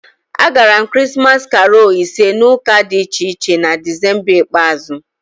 Agara m Krismas karolu ise na ụka dị iche iche na Desemba ikpeazụ